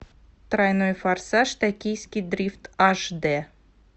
тройной форсаж токийский дрифт аш д